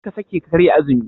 Karka sake ka karya azumi.